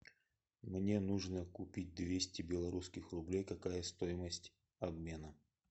мне нужно купить двести белорусских рублей какая стоимость обмена